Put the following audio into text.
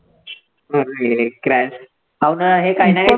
crash काही ना काही